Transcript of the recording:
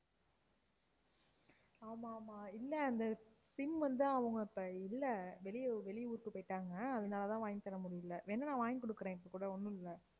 ஆமாம், ஆமாம், இல்ல அந்த sim வந்து அவங்க அப்ப இல்ல வெளியூ~ வெளியூருக்கு போயிட்டாங்க, அதனால தான் வாங்கி தர முடியல வேணும்னா வாங்கி கொடுக்குறேன் இப்ப கூட ஒண்ணும் இல்ல.